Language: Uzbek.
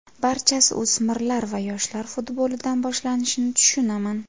Barchasi o‘smirlar va yoshlar futbolidan boshlanishini tushunaman.